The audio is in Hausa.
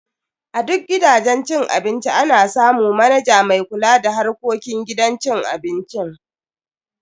A duk gidajen cin abinci ana samu manaja mai kula da harkokin gidan cin abincin.